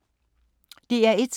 DR1